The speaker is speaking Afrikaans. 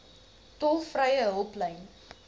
tolvrye hulplyn